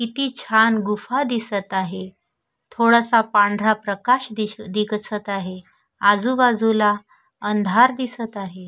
किती छान गुफा दिसत आहे थोडासा पांढरा प्रकाश दिस दिसत आहे आजूबाजूला अंधार दिसत आहे.